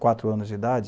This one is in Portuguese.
Quatro anos de idade?